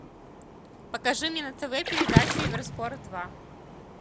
покажи мне на тв передачу евро спорт два